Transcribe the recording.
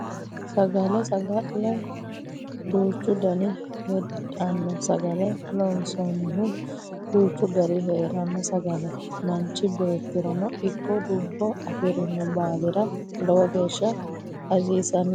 Sagale sagale duuchu daniti heedhanno sagale loonsannihu duuchu gari heeranno sagale manchi beettirano ikko lubbo afirino baalira lowo geeshsha hasiissannote